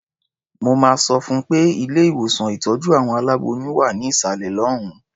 Mo máa sọ fún un pé ilé-ìwòsàn ìtọ́jú àwọn aláboyún wà ní ìsàlẹ̀ lọ́hùn-ún.